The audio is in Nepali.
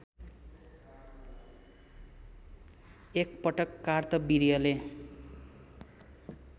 एक पटक कार्तवीर्यले